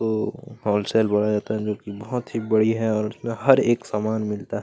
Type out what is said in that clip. वो एक होलसेल बोला जाता है जो की बड़िया और यहाँ हर एक सामान मिलता है।